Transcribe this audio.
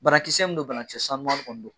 Barakisɛ mun don banakisɛ sanuma kɔni don